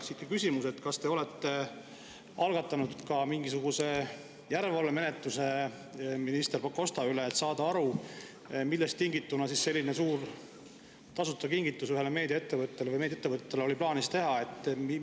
Siit ka küsimus: kas te olete algatanud mingisuguse järelevalvemenetluse minister Pakosta kohta, et saada aru, millest tingituna selline suur kingitus ühele meediaettevõttele oli plaanis teha?